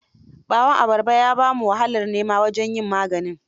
Ɓawan abarba ya ba mu wahalar nema wajen yin maganin.